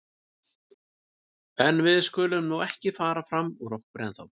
En við skulum nú ekki fara fram úr okkur ennþá.